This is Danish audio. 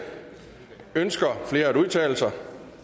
ønsker flere at udtale sig